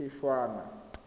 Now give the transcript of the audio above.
phešwana